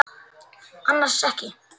Annars ekki.